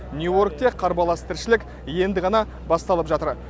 нью йоркте қарбалас тіршілік енді ғана басталып жатыр